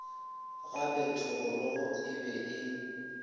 gape thogorogo e be e